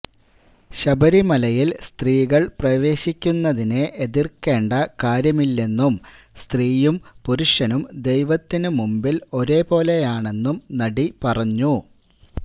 ശബരിമലയില് സ്ത്രീകള് പ്രവേശിക്കുന്നതിനെ എതിര്ക്കേണ്ട കാര്യമില്ലെന്നും സ്ത്രീയും പുരുഷനും ദൈവത്തിനു മുന്പില് ഒരേപോലെയാണെന്നും നടി പറഞ്ഞു